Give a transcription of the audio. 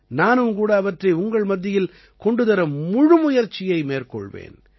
நானும் கூட அவற்றை உங்கள் மத்தியில் கொண்டு தர முழு முயற்சியை மேற்கொள்வேன்